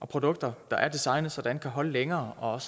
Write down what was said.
produkter der er designet sådan kan holde længere og